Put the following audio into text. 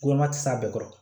Gɔngɔn tɛ se a bɛɛ kɔrɔ